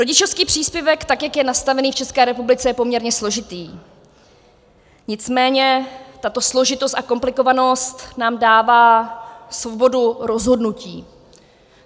Rodičovský příspěvek, tak jak je nastavený v České republice, je poměrně složitý, nicméně tato složitost a komplikovanost nám dává svobodu rozhodnutí.